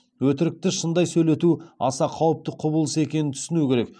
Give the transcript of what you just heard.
өтірікті шындай сөйлету аса қауіпті құбылыс екенін түсіну керек